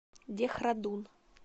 дехрадун